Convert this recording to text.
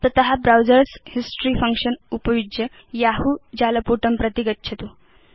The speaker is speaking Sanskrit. तत ब्राउजर्स हिस्टोरी फंक्शन उपयुज्य यहू जालपुटं प्रति गच्छतु